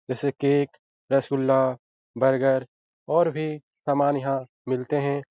जैसे cake rasgulla burger और भी समान यहाँ मिलते हें।